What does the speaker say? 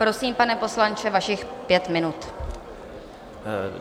Prosím, pane poslanče, vašich pět minut.